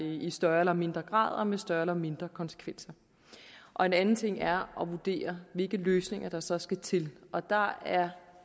i større eller mindre grad og med større eller mindre konsekvenser og en anden ting er at vurdere hvilke løsninger der så skal til og der er